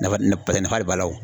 Nafa nafa pase nafa le b'a la o.